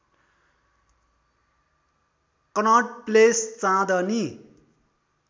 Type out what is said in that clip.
Connaught Place Chandni